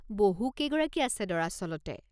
বহুকেইগৰাকী আছে দৰাচলতে।